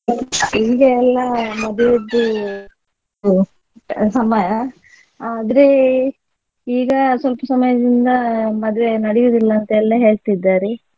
ಈಗ ಎಲ್ಲಾ ಮದುವೆದ್ದು ಇದು ಸಮಯ ಆದ್ರೆ ಈಗ ಸ್ವಲ್ಪ ಸಮಯದಿಂದ ಮದುವೆ ನಡೆಯುವುದಿಲ್ಲ ಅಂತ ಎಲ್ಲಾ ಹೇಳ್ತಿದ್ದಾರೆ.